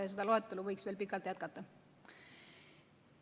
Ja seda loetelu võiks veel pikalt jätkata.